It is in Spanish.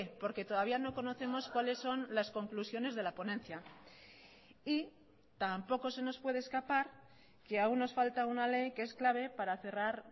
porque todavía no conocemos cuáles son las conclusiones de la ponencia y tampoco se nos puede escapar que aún nos falta una ley que es clave para cerrar